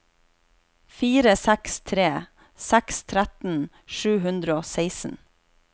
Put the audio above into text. fire seks tre seks tretten sju hundre og seksten